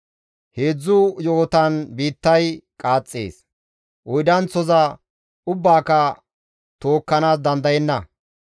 «Heedzdzu yo7otan biittay qaaxxees; oydanththoza ubbaaka tookkanaas dandayenna.